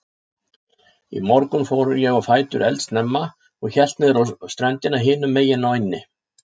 Í morgun fór ég á fætur eldsnemma og hélt niðrá ströndina hinumegin á eynni.